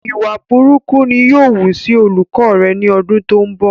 ìwà burúkú ni yóò wú sí olùkọ rẹ ni ọdún tó ń bọ̀